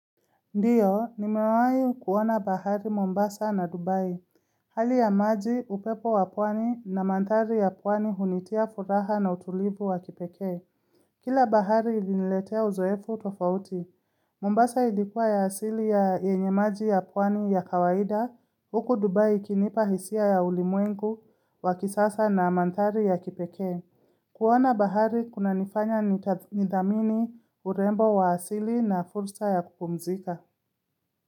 Ndiyo, nimewahi kuona bahari Mombasa na Dubai. Hali ya maji, upepo wa pwani na mandhari ya pwani hunitia furaha na utulivu wa kipekee. Kila bahari iliniletea uzoefu tofauti. Mombasa ilikuwa ya asili ya yenye maji ya pwani ya kawaida. Huku Dubai ikinipa hisia ya ulimwengu wakisasa na mandhari ya kipekee. Kuona bahari kunanifanya nitathmini nidhamini urembo wa asili na fursa ya kupumzika.